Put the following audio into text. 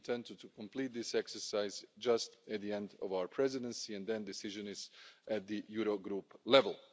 We intend to complete this exercise just at the end of our Presidency and then a decision is at the Eurogroup level.